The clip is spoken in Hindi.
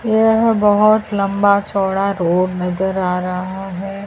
यह बहुत लंबा चौड़ा रोड नजर आ रहा है।